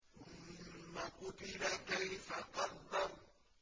ثُمَّ قُتِلَ كَيْفَ قَدَّرَ